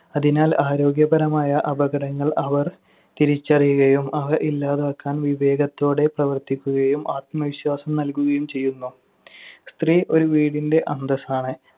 അതിനാൽ ആരോഗ്യപരമായ അപകടങ്ങൾ അവർ തിരിച്ചറിയുകയും അവ ഇല്ലാതാക്കാൻ വിവേകത്തോടെ പ്രവർത്തിക്കുകയും ആത്മവിശ്വാസം നൽകുകയും ചെയ്യുന്നു. സ്ത്രീ ഒരു വീടിന്‍ അന്തസ്സാണ്.